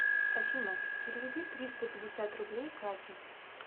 афина переведи триста пятьдесят рублей кате